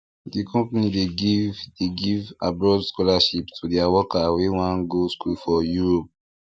di company dey give dey give abroad scholarship to dia workers wey wan go school for europe